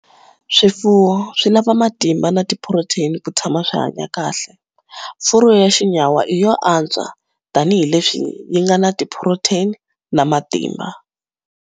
Swifuwo swi lava matimba na tiphurotheni ku tshama swi hanya kahle. Furu ya xinyawa i yo antswa tanihileswi yi nga na tiphurotheni na matimba.